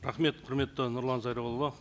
рахмет құрметті нұрлан зайроллаұлы